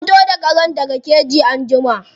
Ka fito da karen daga keji anjima.